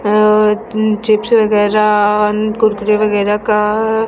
अ chips वगैरा कुरकुरे वगैरा का--